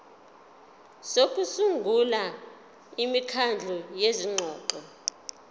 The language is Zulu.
sokusungula imikhandlu yezingxoxo